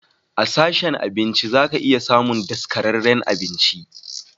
A sashen abinci zaka iya samun daskararren abinci.